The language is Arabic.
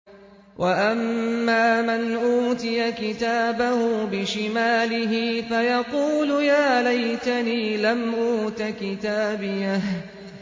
وَأَمَّا مَنْ أُوتِيَ كِتَابَهُ بِشِمَالِهِ فَيَقُولُ يَا لَيْتَنِي لَمْ أُوتَ كِتَابِيَهْ